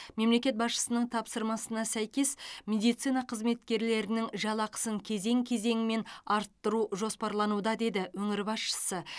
мемлекет басшысының тапсырмасына сәйкес медицина қызметкерлерінің жалақысын кезең кезеңімен арттыру жоспарлануда деді өңір басшысы